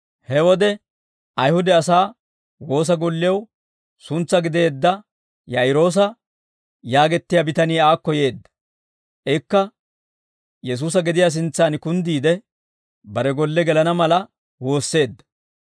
He wode, Ayihude asaa woosa gollew suntsaa gideedda Yaa'iroosa yaagettiyaa bitanii aakko yeedda. Ikka Yesuusa gediyaa sintsaan kunddiide, bare golle gelana mala woosseedda.